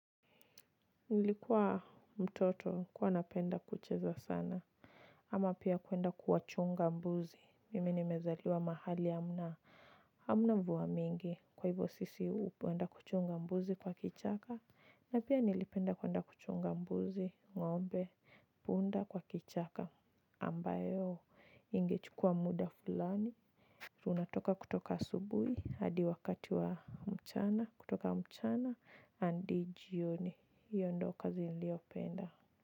Nilikuwa mtoto kuwa napenda kucheza sana. Ama pia kwenda kuwa chunga mbuzi mimi ni mezaliwa mahali hamna hamna mvua mingi kwa hivyo sisi upenda kuchunga mbuzi kwa kichaka. Na pia nilipenda kwenda kuchunga mbuzi ngombe punda kwa kichaka ambayo ingechukua muda fulani. Unatoka kutoka asubui, hadi wakati wa mchana, kutoka mchana, andi jioni, hiyo ndo kazi niliopenda.